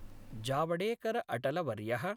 जावडेकरअटलवर्यः